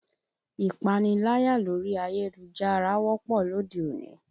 Ìpaniláyà lórí ayélujára wọ́pọ̀ lóde òní